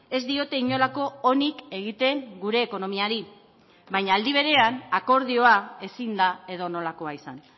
ez diote inolako onik egiten gure ekonomiari baina aldi berean akordioa ezin da edonolakoa izan